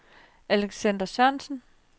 Alexander Sørensen